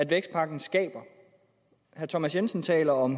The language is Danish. vækstpakken skaber herre thomas jensen taler om